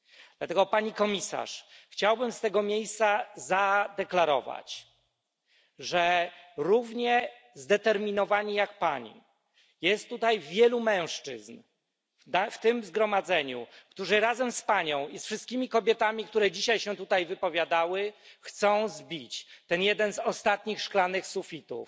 Dlatego, Pani Komisarz, chciałbym z tego miejsca zadeklarować, że równie zdeterminowanych jak Pani jest tutaj wielu mężczyzn w tym zgromadzeniu, którzy razem z Panią i z wszystkimi kobietami, które dzisiaj się tutaj wypowiadały, chcą zbić ten jeden z ostatnich szklanych sufitów